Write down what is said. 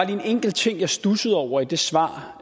en enkelt ting jeg studsede over i det svar